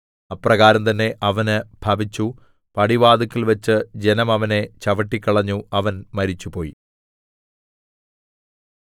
അപ്രകാരം തന്നെ അവന് ഭവിച്ചു പടിവാതില്ക്കൽവച്ചു ജനം അവനെ ചവിട്ടിക്കളഞ്ഞു അവൻ മരിച്ചുപോയി